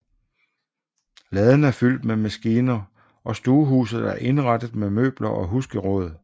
Laden er fyldt med maskiner og stuehuset er indrettet med møbler og husgeråd